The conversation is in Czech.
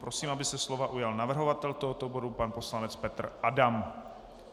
Prosím, aby se slova ujal navrhovatel tohoto bodu pan poslanec Petr Adam.